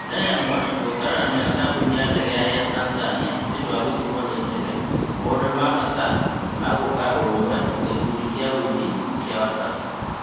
Diamond gũkararania na kambuni ya ndege ya Air Tanzania nĩũndũ wa gũtigwo nĩ ndege, maũndũ ma bata ma gũkũĩra ũrũmwe wa gĩkundi kĩa wũini kĩa Wasafi